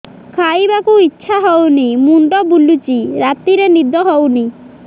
ଖାଇବାକୁ ଇଛା ହଉନି ମୁଣ୍ଡ ବୁଲୁଚି ରାତିରେ ନିଦ ହଉନି